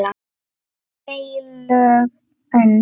HEILÖG ÖND